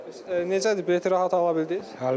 Bəs necədir bilet rahat ala bildiz?